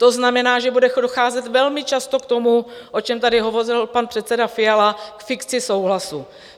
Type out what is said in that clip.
To znamená, že bude docházet velmi často k tomu, o čem tady hovořil pan předseda Fiala - k fikci souhlasu.